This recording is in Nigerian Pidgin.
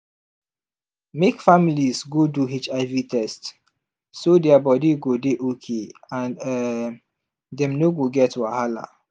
make families go do hiv test so their body go dey okay and um dem no go get wahala